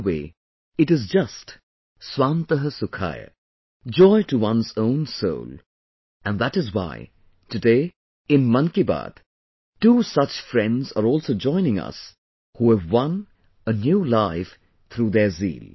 In a way, it is just 'Swant Sukhay', joy to one's own soul and that is why today in "Mann Ki Baat" two such friends are also joining us who have won a new life through their zeal